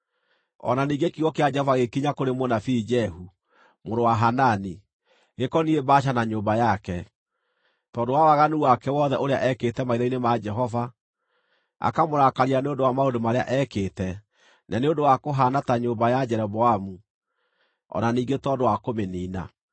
O na ningĩ kiugo kĩa Jehova gĩgĩkinya kũrĩ mũnabii Jehu, mũrũ wa Hanani, gĩkoniĩ Baasha na nyũmba yake, tondũ wa waganu wake wothe ũrĩa eekĩte maitho-inĩ ma Jehova, akamũrakaria nĩ ũndũ wa maũndũ marĩa eekĩte, na nĩ ũndũ wa kũhaana ta nyũmba ya Jeroboamu, o na ningĩ tondũ wa kũmĩniina.